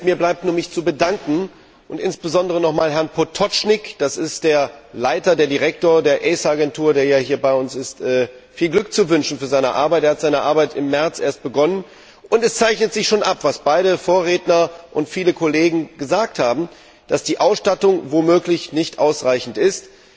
Herr Präsident! Mir bleibt nur, mich zu bedanken und insbesondere nochmals Herrn Pototschnig das ist der Direktor der ACER Agentur, der hier bei uns ist viel Glück zu wünschen für seine Arbeit. Er hat seine Arbeit erst im März begonnen, und es zeichnet sich schon ab, was beide Vorredner und viele Kollegen gesagt haben, dass die Ausstattung womöglich nicht ausreichend ist.